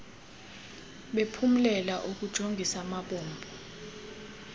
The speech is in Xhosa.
bephumlela ukujongis amabombo